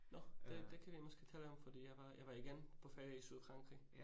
Nåh, det det kan vi måske tale om fordi jeg var jeg var igen på ferie i Sydfrankrig